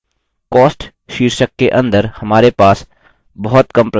cost शीर्षक के अंदर हमारे पास बहुत कम प्रविष्टियाँ हैं